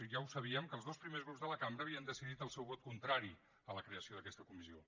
ja ho sabíem els dos primers grups de la cambra havien decidit el seu vot contrari a la creació d’aquesta comissió